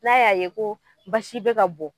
N'a y'a ye ko basi be ka bɔn